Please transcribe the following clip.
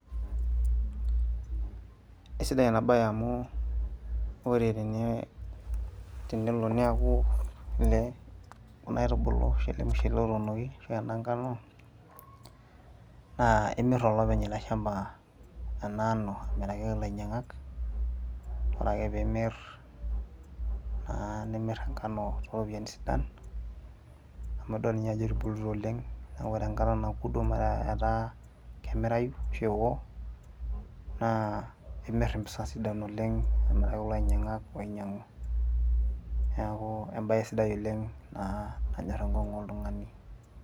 aisidai ena baye amu ore tene, tenelo niaku ele kuna aitubulu ashu ele mushele otuunoki ashu ena nkano naa imirr olopeny ele shamba ena ano amiraki ake ilainyiang'ak ore ake pimirr naa nimirr enkano toropiyiani sidan amu idol ninye ajo etubulutua oleng neku ore enkata naku duo metaa etaa kemirai ashu ewo naa imirr impisa sidain oleng amiraki kulo ainyiang'ak oinyiang'u niaku embaye sidai oleng naa nanyorr enkong'u oltung'ani.